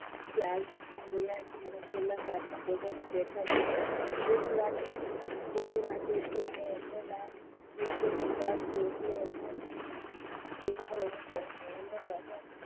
એ આવી ગયા છે અને છેલ્લા સાતમા કોઠારમાં બેઠા છે કોઠી કોઠી વાંચે છે અને એમનું નામ પુરુષોત્તમદાસ છે એટલે એમને બોલાવો અને કહ્યું